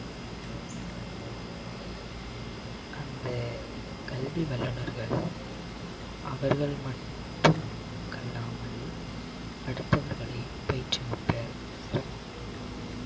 அந்த கல்வி வல்லுனர்கள் அவர்கள் மட்டுமல்லாமல் அடுத்தவர்களையும் பயிற்றுவிப்பர்